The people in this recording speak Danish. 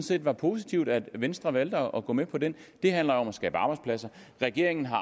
det var positivt at venstre valgte at gå med på den det handler om at skabe arbejdspladser regeringen har